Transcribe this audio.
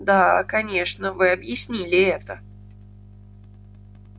да конечно вы объяснили это